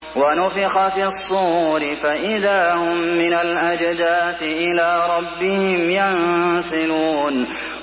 وَنُفِخَ فِي الصُّورِ فَإِذَا هُم مِّنَ الْأَجْدَاثِ إِلَىٰ رَبِّهِمْ يَنسِلُونَ